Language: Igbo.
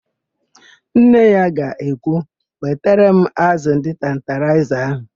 Nne ya ga-ekwu, "wetara m ázụ̀ ndị tantalaịza ahụ"!